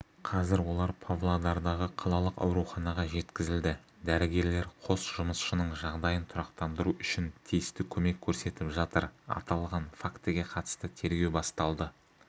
қазір олар павлодардағы қалалық ауруханаға жеткізілді дәрігерлер қос жұмысшының жағдайын тұрақтандыру үшін тиісті көмек көрсетіп жатыр аталған фактіге қатысты тергеу басталды